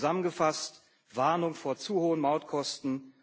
Zusammengefasst Warnung vor zu hohen Mautkosten.